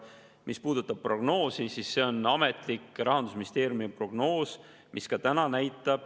Mis puudutab prognoosi, siis see on ametlik Rahandusministeeriumi prognoos.